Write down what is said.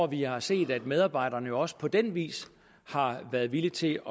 vi har set at medarbejderne også på den vis har været villige til